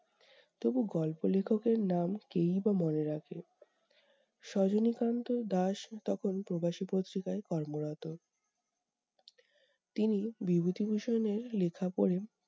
তবু গল্প লেখকের নাম কে-ই বা মনে রাখে! সজনী কান্ত দাস তখন প্রবাসী পত্রিকায় কর্মরত। তিনি বিভূতিভূষণ এর লেখা পড়ে